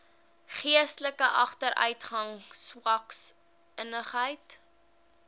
geestelike agteruitgang swaksinnigheid